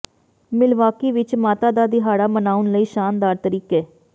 Milwaukee ਵਿਚ ਮਾਤਾ ਦਾ ਦਿਹਾੜਾ ਮਨਾਉਣ ਲਈ ਸ਼ਾਨਦਾਰ ਤਰੀਕੇ